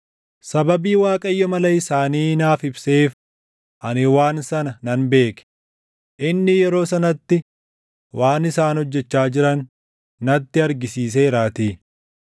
Sababii Waaqayyo mala isaanii naaf ibseef ani waan sana nan beeke; inni yeroo sanatti waan isaan hojjechaa jiran natti argisiiseeraatii.